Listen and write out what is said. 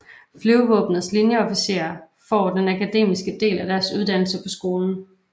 Flyvevåbnets linjeofficerer får den akademiske del af deres uddannelse på skolen